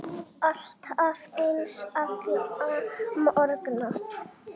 Alltaf eins, alla morgna.